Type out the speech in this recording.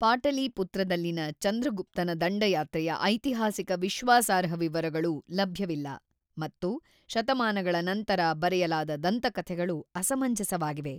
ಪಾಟಲಿಪುತ್ರದಲ್ಲಿನ ಚಂದ್ರಗುಪ್ತನ ದಂಡಯಾತ್ರೆಯ ಐತಿಹಾಸಿಕ ವಿಶ್ವಾಸಾರ್ಹ ವಿವರಗಳು ಲಭ್ಯವಿಲ್ಲ ಮತ್ತು ಶತಮಾನಗಳ ನಂತರ ಬರೆಯಲಾದ ದಂತಕಥೆಗಳು ಅಸಮಂಜಸವಾಗಿವೆ.